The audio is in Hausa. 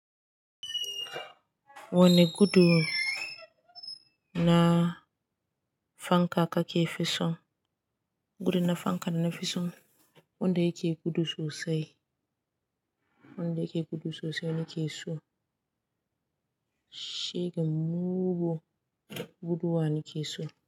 Wani gudu na fanka kake fi son? Gudun na fanka nafi son, wanda yake gudu sosai, wanda yake gudu sosai nake so. Shega mugun guduwa nake so.